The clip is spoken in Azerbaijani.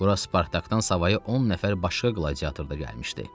Bura Spartakdan savayı 10 nəfər başqa qladiator da gəlmişdi.